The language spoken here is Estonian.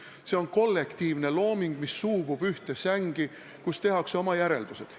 See on kollektiivne looming, mis suubub ühte sängi, kus tehakse oma järeldused.